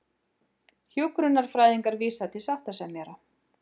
Hjúkrunarfræðingar vísa til sáttasemjara